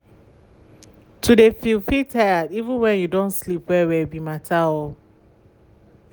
to de feel feeel um tired even went you done sleep well well be matter. be matter.